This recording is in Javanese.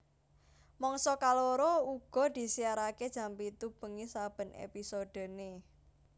Mangsa kaloro uga disiarake jam pitu bengi saben episodene